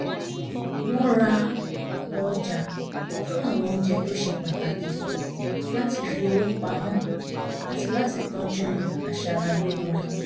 wọ́n ra ọ̀pọ̀ ọjà fún àwọn oúnjẹ tó ṣe pàtàkì láti fi owó pamọ́ àti láti tọ́jú aṣara lóore